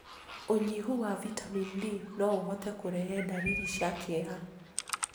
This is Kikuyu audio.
Ũnyihu wa Vitamin D no ũhote kũrehe ndariri cia kĩeha.